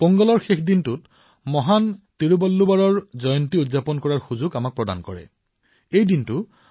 পোংগলৰ শেষৰ দিনা মহান তিৰুৱল্লুৱৰৰ জয়ন্তী পালন কৰাৰ সৌভাগ্য আমি দেশবাসীসকলে লাভ কৰো